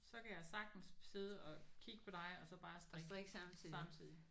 Så kan jeg sagtens sidde og kigge på dig og så bare strikke samtidigt